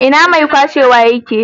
Ina mai kwashewa ye ke?